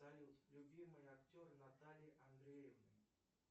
салют любимые актеры натальи андреевны